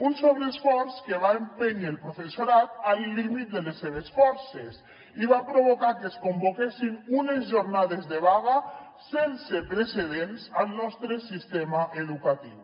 un sobreesforç que va empènyer el professorat al límit de les seves forces i va provocar que es convoquessin unes jornades de vaga sense precedents al nostre sistema educatiu